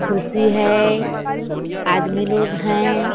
खुर्सी है आदमी लोग है।